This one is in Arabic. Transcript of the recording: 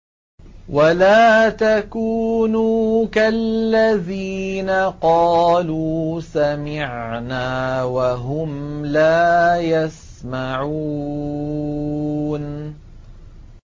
وَلَا تَكُونُوا كَالَّذِينَ قَالُوا سَمِعْنَا وَهُمْ لَا يَسْمَعُونَ